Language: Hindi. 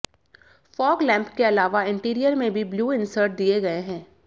फॉग लैंप के अलावा इंटीरियर में भी ब्लू इंसर्ट दिए गए हैं